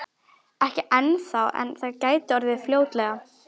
Ekki ennþá en það gæti orðið fljótlega.